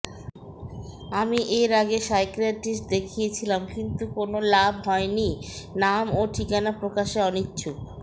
আমি এর আগে সাইকিয়াট্রিস্ট দেখিয়েছিলাম কিন্তু কোনও লাভ হয়নি নাম ও ঠিকানা প্রকাশে অনিচ্ছুক